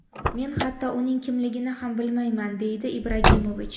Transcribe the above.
Men hatto uning kimligini ham bilmayman”, deydi Ibragimovich.